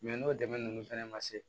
n'o dɛmɛ ninnu fɛnɛ ma se